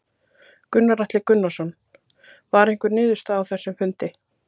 Gunnar Atli Gunnarsson: Var einhver niðurstaða á þessum fundi?